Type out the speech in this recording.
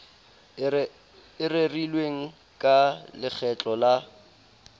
e rerilweng ka lekgetlo le